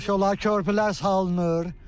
Yaxşı olar, körpülər salınır.